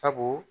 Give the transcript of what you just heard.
Sabu